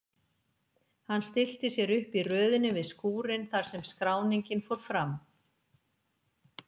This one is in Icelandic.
Hann stillti sér upp í röðinni við skúrinn þar sem skráningin fór fram.